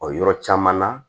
O yɔrɔ caman na